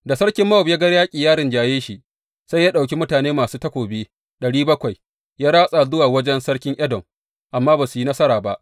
Da sarkin Mowab ya ga yaƙi ya rinjaye shi, sai ya ɗauki mutane masu takobi ɗari bakwai, ya ratsa zuwa wajen sarkin Edom, amma ba su yi nasara ba.